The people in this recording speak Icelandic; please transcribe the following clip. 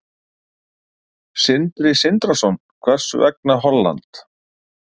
Sindri Sindrason: Hvers vegna Holland?